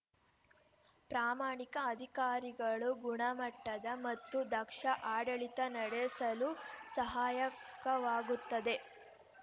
ಪ್ರಾಮಾಣಿಕ ಅಧಿಕಾರಿಗಳು ಗುಣಮಟ್ಟದ ಮತ್ತು ದಕ್ಷ ಆಡಳಿತ ನಡೆಸಲು ಸಹಾಯಕವಾಗುತ್ತದೆ